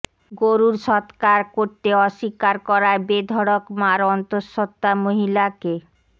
গরুর সৎকার করতে অস্বীকার করায় বেধড়ক মার অন্তঃসত্ত্বা মহিলাকে